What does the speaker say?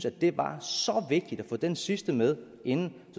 at det var så vigtigt at få den sidste med inden